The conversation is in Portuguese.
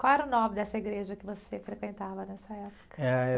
Qual era o nome dessa igreja que você frequentava nessa época?